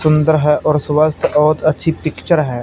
सुंदर है और स्वस्थ और अच्छी पिक्चर है।